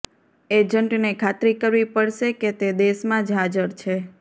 એજન્ટને ખાતરી કરવી પડશે કે તે દેશમાં જ હાજર છે